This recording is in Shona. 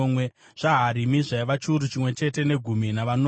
zvaHarimu zvaiva chiuru chimwe chete negumi navanomwe.